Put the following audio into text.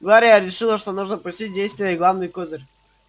глория решила что нужно пустить в действие главный козырь